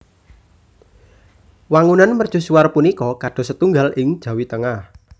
Wangunan mercusuar punika kados setunggal ing Jawi Tengah